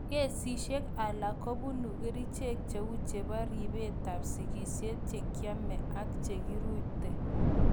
Kesishek alak kobunu kerichek che u chebo ribetab sigishet che kiame ak che kirute.